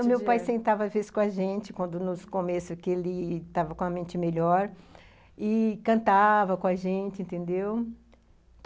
O meu pai sentava às vezes com a gente, quando no começo ele estava com a mente melhor, e cantava com a gente, entendeu?